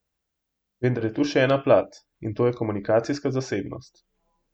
Vendar je tu še ena plat, in to je komunikacijska zasebnost.